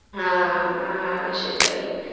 হ্যাঁ হ্যাঁ সেটাই,